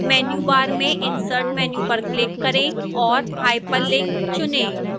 menu bar में insert menu पर click करें और hyperlink चुनें